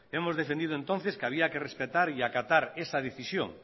hemos defendido entonces que había que respetar y acatar esa decisión